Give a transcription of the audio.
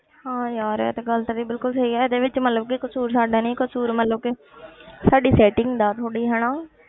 ਹਾਂ ਯਾਰ ਇਹ ਤਾਂ ਗੱਲ ਤੇਰੀ ਬਿਲਕੁਲ ਸਹੀ ਹੈ ਇਹਦੇ ਵਿੱਚ ਮਤਲਬ ਕਿ ਕਸ਼ੂਰ ਸਾਡਾ ਨੀ ਕਸ਼ੂਰ ਮਤਲਬ ਕਿ ਸਾਡੀ setting ਦਾ ਥੋੜ੍ਹੀ ਹਨਾ